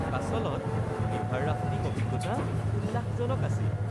কাছলত river rafting অভিজ্ঞতা উল্লাসজনক আছিল